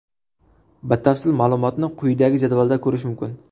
Batafsil ma’lumotni quyidagi jadvalda ko‘rish mumkin.